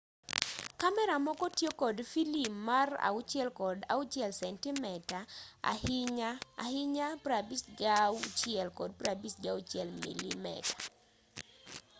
kamera moko tiyo kod filim mar 6 kod 6 sentimeta ahinya ahinya 56 kod 56 milimeta